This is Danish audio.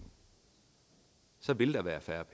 så vil der være færre